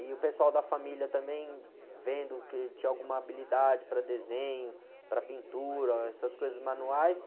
E o pessoal da família também, vendo que tinha alguma habilidade para desenho, para pintura, essas coisas manuais.